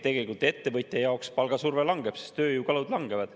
Ettevõtja jaoks palgasurve langeb, sest tööjõukulud langevad.